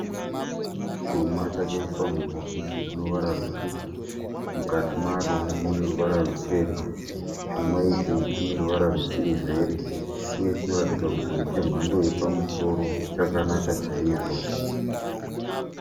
Chuma chakaiswa mubhokisi rinoruvara rutsvuku. Mukati maro mune ruvara ruchena. Chuma ichi chineruvara rwesiriveri uye chinoratidza kuti ndechemhando yepamusoro. Chakanaka chaizvo